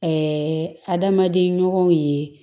adamaden ɲɔgɔnw ye